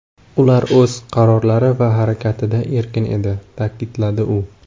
Ular o‘z qarorlari va harakatida erkin edi”, ta’kidladi u.